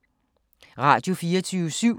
Radio24syv